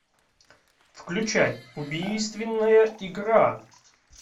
включай убийственная игра